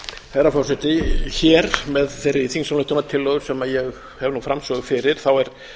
herra forseti hér með þeirri þingsályktunartillögu sem ég hef nú framsögu fyrir er